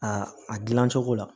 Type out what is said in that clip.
A a dilan cogo la